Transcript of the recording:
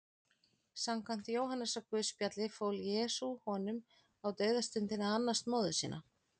Samkvæmt Jóhannesarguðspjalli fól Jesús honum á dauðastundinni að annast móður sína.